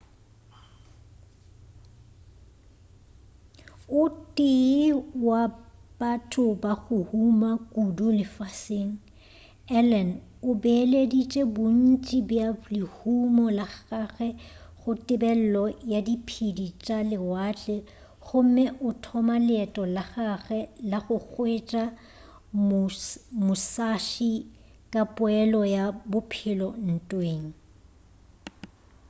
o tee wa batho ba go huma kudu lefaseng allen o beeleditše bontši bja lehumo la gagwe go tebelelo ya diphedi tša lewatle gomme a thoma leeto la gagwe la go hwetša musashi ka poelo ya bophelo ntweng